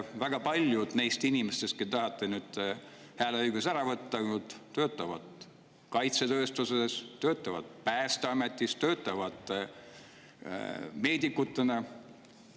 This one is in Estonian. Väga paljud neist inimestest, kellelt te tahate nüüd hääleõiguse ära võtta, töötavad kaitsetööstuses, töötavad Päästeametis, töötavad meedikutena.